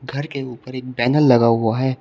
घर के ऊपर एक बैनर लगा हुआ है।